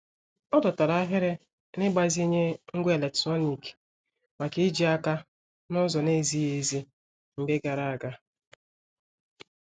Ọ dọtara ahịrị n'igbazinye ngwá eletrọnịkị maka ijì aka n'ụzọ na-ezighị ezi mgbe gara aga.